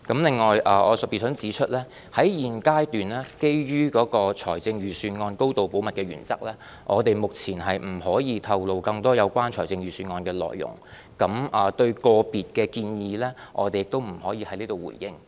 另外，我特別想指出，在現階段，基於財政預算案高度保密的原則，我們目前不可以透露更多有關預算案的內容，對於個別建議，我們也不能在此回應。